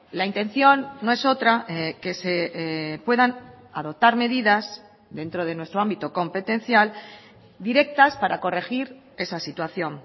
la intención no es otra que se puedan adoptar medidas dentro de nuestro ámbito competencial directas para corregir esa situación